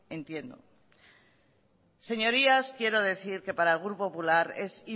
entiendo señorías quiero decir que para el grupo popular es